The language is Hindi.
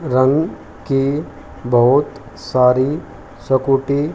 रंग की बहोत सारी सकूटी --